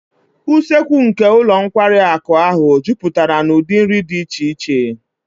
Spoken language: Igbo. Usekwu nke ụlọ nkwari akụ ahụ juputara na ụdị nri dị iche iche